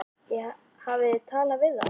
Hafið þið talað við þá?